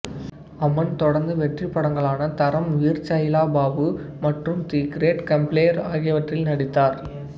அமன் தொடர்ந்து வெற்றிப்படங்களான தரம் வீர் ச்சைலா பாபு மற்றும் தி கிரேட் கம்ப்ளேர் ஆகியவற்றில் நடித்தார்